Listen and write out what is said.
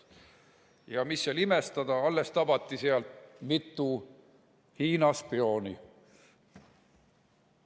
Ja mis seal imestada, alles tabati seal mitu Hiina spiooni.